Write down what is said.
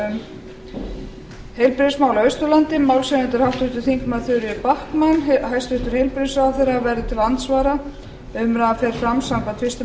um heilbrigðismál á austurlandi málshefjandi er háttvirtir þingmenn þuríður backman hæstvirtur heilbrigðisráðherra verður til andsvara umræðan fer fram samkvæmt fyrstu